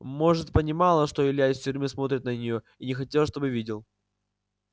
может понимала что илья из тюрьмы смотрит на неё и не хотела чтобы видел